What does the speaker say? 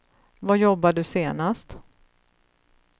Var jobbade du senast?